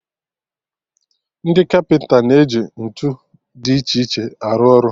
Ndị kapịnta na-eji ntụ dị iche iche arụ ọrụ